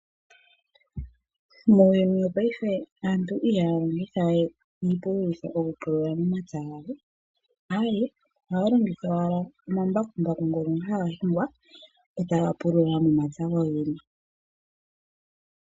Muuyuni wopaife aantu ihaya longitha we iipululitho okupululitha omapya gawo, aawe, ohaya longitha wala omambakumbaku ngono haga shingwa eta gapulula momapya gogene.